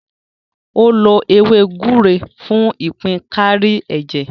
Ó lo ewé gbúre fún ìpín kárí ẹ̀jẹ̀.